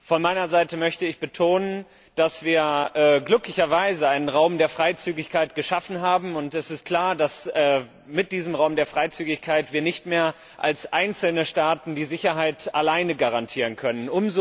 Von meiner Seite möchte ich betonen, dass wir glücklicherweise einen Raum der Freizügigkeit geschaffen haben, und es ist klar, dass wir mit diesem Raum der Freizügigkeit die Sicherheit nicht mehr als einzelne Staaten alleine garantieren können.